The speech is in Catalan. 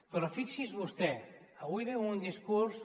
però fixi’s vostè avui ve amb un discurs